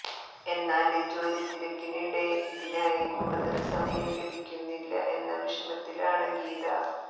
എന്നാല് ജോലിത്തിരക്കിനിടെ ഇതിനായി കൂടുതല് സമയം ലഭിക്കുന്നില്ല എന്ന വിഷമത്തിലാണ് ഗീത